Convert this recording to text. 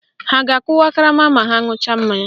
Ha a ga-akụwa karama ma ha ṅucha mmanya?